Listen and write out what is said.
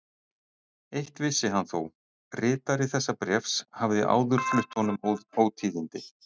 Eitt vissi hann þó: ritari þessa bréfs hafði áður flutt honum ótíðindi.